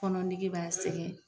Fɔnɔ nege b'a sɛgɛn